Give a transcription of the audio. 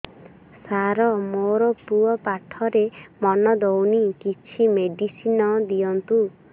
ସାର ମୋର ପୁଅ ପାଠରେ ମନ ଦଉନି କିଛି ମେଡିସିନ ଦିଅନ୍ତୁ